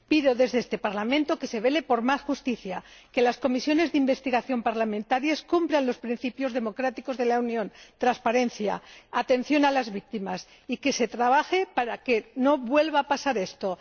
Pido, desde este Parlamento, que se vele por más justicia, que las comisiones de investigación parlamentarias cumplan los principios democráticos de la Unión, transparencia, atención a las víctimas, y que se trabaje para que no vuelva a pasar esto.